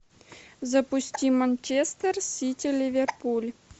запусти манчестер сити ливерпуль